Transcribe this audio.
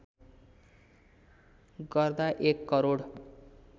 गर्दा १ करोड